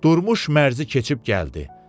Durmuş mərzi keçib gəldi.